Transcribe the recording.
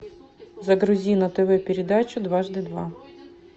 загрузи на тв передачу дважды два